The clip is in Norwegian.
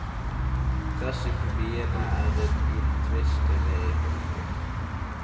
Presset på byene er et uomtvistelig faktum.